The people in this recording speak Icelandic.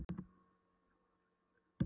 Svo var hún þjófkennd, ekki satt?